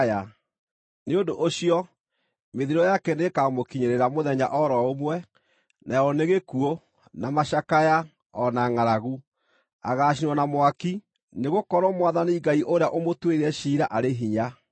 Nĩ ũndũ ũcio, mĩthiro yake nĩĩkamũkinyĩrĩra mũthenya o ro ũmwe: nayo nĩ gĩkuũ, na macakaya, o na ngʼaragu. Agaacinwo na mwaki, nĩgũkorwo Mwathani Ngai ũrĩa ũmũtuĩrĩire ciira arĩ hinya.